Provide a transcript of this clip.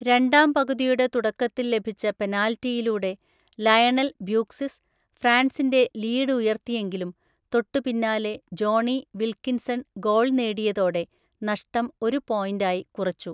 രണ്ടാം പകുതിയുടെ തുടക്കത്തിൽ ലഭിച്ച പെനാൽറ്റിയിലൂടെ ലയണൽ ബ്യൂക്സിസ്, ഫ്രാൻസിൻ്റെ ലീഡ് ഉയർത്തിയെങ്കിലും തൊട്ടുപിന്നാലെ ജോണി വിൽക്കിൻസൺ ഗോൾ നേടിയതോടെ, നഷ്ടം ഒരു പോയിൻറ്റായി കുറച്ചു.